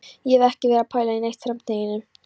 Ég hef ekki verið að pæla neitt í framtíðinni.